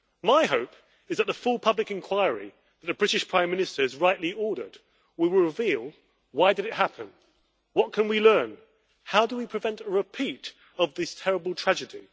My hope is that the full public inquiry that the British Prime Minister has rightly ordered will reveal why did it happen, what can we learn, how do we prevent a repeat of this terrible tragedy?